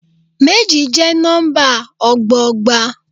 Méjì jẹ́ nọ́ḿbà ọgbọọgba.